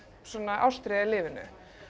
ástríða í lífinu